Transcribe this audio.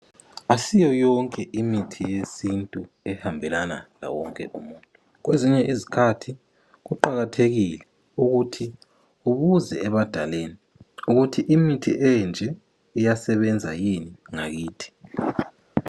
Asiyoyonke imithi yesintu ehambelana lawonke umuntu, kwezinye izikhathi kuqakathekile ukuthi ubuze ebadaleni ukuthi imithi enje iyasebena yini ngakithi.